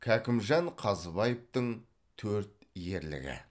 кәкімжан қазыбаевтың төрт ерлігі